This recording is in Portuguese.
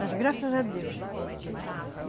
Mas graças a Deus.